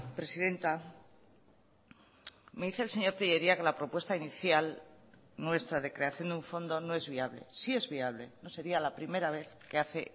presidenta me dice el señor tellería que la propuesta inicial nuestra de creación de un fondo no es viable sí es viable no sería la primera vez que hace